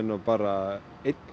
bara einn